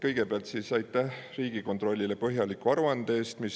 Kõigepealt aitäh Riigikontrollile põhjaliku aruande eest!